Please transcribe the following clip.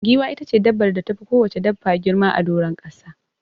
Giwa itace dabbar da tafi kowacce dabba girma a doron ƙasa.